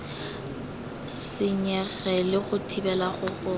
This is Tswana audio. senyege le go thibela go